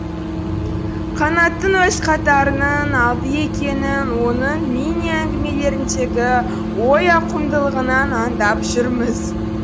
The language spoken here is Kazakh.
қанаттың өз қатарының алды екенін оның миниәңгімелеріндегі ой ауқымдылығынан аңдап жүрміз